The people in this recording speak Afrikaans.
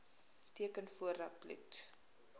teken voordat bloed